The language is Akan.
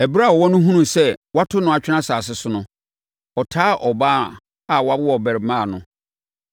Ɛberɛ a ɔwɔ no hunuu sɛ wɔato no atwene asase so no, ɔtaa ɔbaa a wawo abarimaa no.